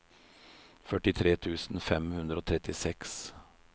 førtitre tusen fem hundre og trettiseks